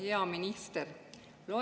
Hea minister!